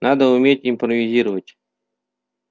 надо уметь импровизировать